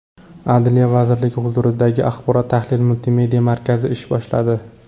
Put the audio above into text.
Adliya vazirligi huzuridagi Axborot-tahlil multimedia markazi ish boshladi .